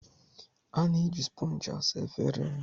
A na-eji spongi ịsa efere